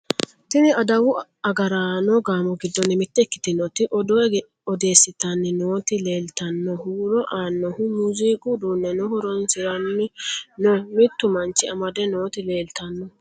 tini adawu agaraano gaamo giddonni mitte ikkitioti odoo odeeessitanni nooti leeltanno huuro aannoha muziiqu uduunneno horoonsiranni no mittu manchi amade nooti leeltanno